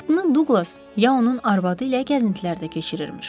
Vaxtını Duqlas ya onun arvadı ilə gəzintilərdə keçirirmiş.